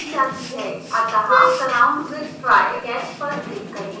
अतः surround with try/catch पर click करें